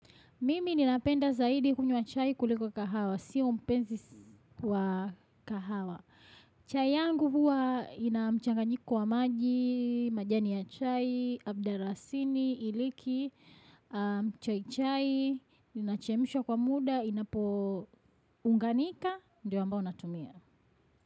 Mimi ninapenda zaidi kunywa chai kuliko kahawa, siyo mpenzi wa kahawa. Chai yangu huwa inamchanganyiko wa maji, majani ya chai, abdarasini, iliki, mchai chai, ninachemshwa kwa muda, inapo unganika, ndio ambao natumia.